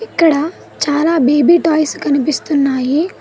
ఇక్కడ చాలా baby toys కనిపిస్తున్నాయి.